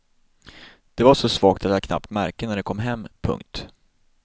De var så svaga att jag knappt märkte när de kom. punkt